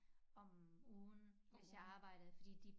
Om ugen hvis jeg har arbejdet fordi de